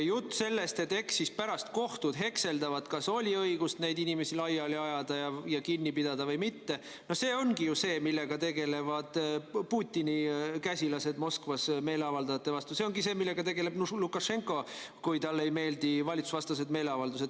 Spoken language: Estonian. Jutt sellest, et eks siis pärast kohtud hekseldavad, kas oli õigust neid inimesi laiali ajada ja kinni pidada või mitte – no see ongi see, millega tegelevad Putini käsilased Moskvas meeleavaldajate vastu tegutsedes, ja see ongi see, millega tegeleb Lukašenka, kui talle ei meeldi valitsusevastased meeleavaldused.